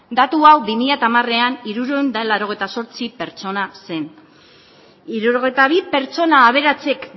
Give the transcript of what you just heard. datu hau bi mila hamarean hirurehun eta laurogeita zortzi pertsona zen hirurogeita bi pertsona aberatsek